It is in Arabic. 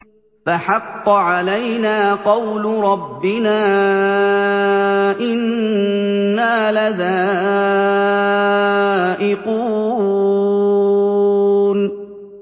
فَحَقَّ عَلَيْنَا قَوْلُ رَبِّنَا ۖ إِنَّا لَذَائِقُونَ